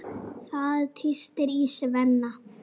Það tístir í Svenna.